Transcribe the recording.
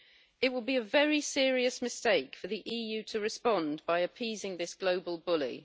It would be a very serious mistake for the EU to respond by appeasing this global bully.